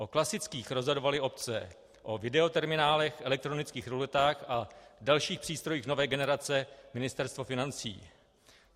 O klasických rozhodovaly obce, o videoterminálech, elektronických ruletách a dalších přístrojích nové generace Ministerstvo financí.